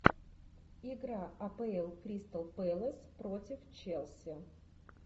игра апл кристал пэлас против челси